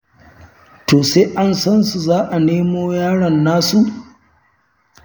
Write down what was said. To sai an san su za a nemo yaron nasu?